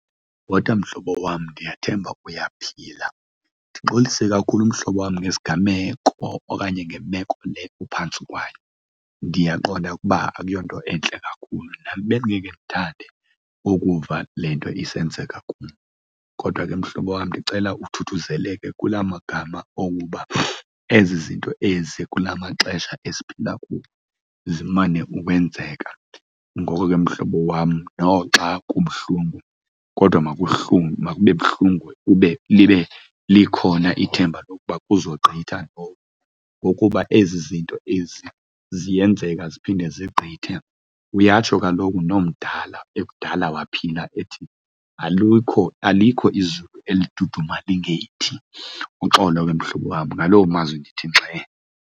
Bhota mhlobo wam, ndiyathemba uyaphila. Ndixolise kakhulu mhlobo wam ngesigameko okanye ngemeko le kuphantsi kwayo, ndiyaqonda ukuba akuyonto entle kakhulu. Nam bendingekhe ndithathe ukuva le nto isenzeka kum kodwa ke mhlobo wam, ndicela uthuthuzeleke kula magama okuba ezi zinto ezi kula maxesha esiphila kuwo zimane ukwenzeka. Ngoko ke mhlobo wam noxa kubuhlungu kodwa makube buhlungu libe likhona ithemba lokuba kuzogqitha ngokuba ezi zinto ezi ziyenzeka ziphinde zigqithe. Uyatsho kaloku nomdala ekudala waphila ethi, alukho alikho izulu eli liduduma lingelithi. Uxolo ke mhlobo wam, ngaloo mazwi ndithi ngxe.